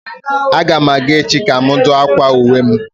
A ga m aga echi ka m dụ akwa uwe akwụkwọ m